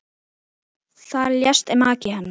Þar lést maki hennar.